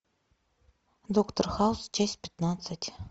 доктор хаус часть пятнадцать